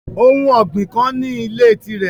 Ohun ọgbin kan ni ile tirẹ